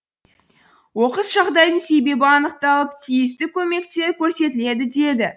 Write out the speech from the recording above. оқыс жағдайдың себебі анықталып тиісті көмектер көрсетіледі деді